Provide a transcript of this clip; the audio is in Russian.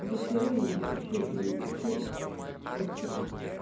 душе и вообще и вообще во всем